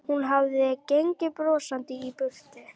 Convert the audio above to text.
Hún hafði gengið brosandi í burt.